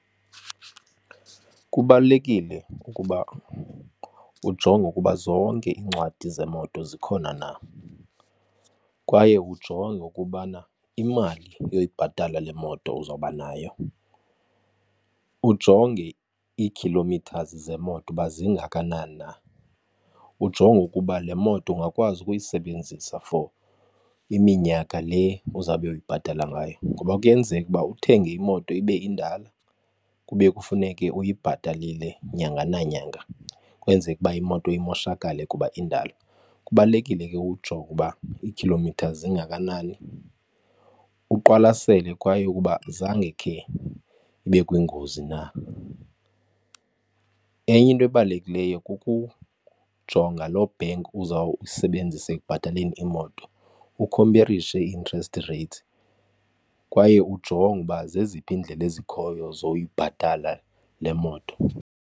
Kubalulekile ukuba ujonge ukuba zonke iincwadi zemoto zikhona na kwaye ujonge ukubana imali yoyibhatala le moto uzawuba nayo. Ujonge iikhilomithazi zemoto ukuba zingakanani na, ujonge ukuba le moto ungakwazi ukuyisebenzisa for iminyaka le uzawube uyibhatala ngayo. Ngoba kuyenzeka ukuba uthenge imoto ibe indala kube kufuneke uyibhatalile nyanga nanyanga kwenzeke ukuba imoto imoshakale kuba indala. Kubalulekile ke ukujonga ukuba iikhilomitha zingakanani, uqwalasele kwaye ukuba zange khe ibe kwingozi na. Enye into ebalulekileyo kukujonga lo bank uzawuyisebenzisa ekubhataleni imoto ukhomperishe ii-interest rates kwaye ujonge ukuba zeziphi iindlela ezikhoyo zoyibhatala le moto.